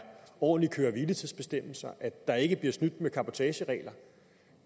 ordentlige køre hvile tids bestemmelser at der ikke bliver snydt med cabotagereglerne